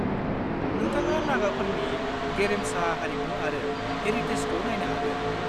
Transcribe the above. नोंथाङा नागाफोरनि गेरेमसा हारिमु आरो हेरिटेजखौ नायनो हागोन।